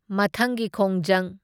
ꯃꯊꯪꯒꯤ ꯈꯣꯡꯖꯪ꯫